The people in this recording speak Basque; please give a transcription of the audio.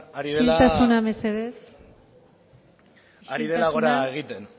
ari dela isiltasuna mesedez isiltasuna ari dela gora egiten